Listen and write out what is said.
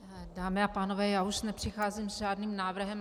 Dámy a pánové, já už nepřicházím s žádným návrhem.